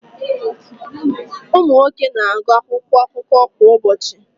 Ụmụ nwoke na-agụ akwụkwọ akụkọ kwa ụbọchị.